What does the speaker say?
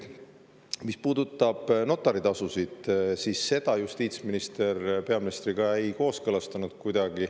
Mis puudutab notaritasusid, siis seda justiitsminister peaministriga kuidagi ei kooskõlastanud.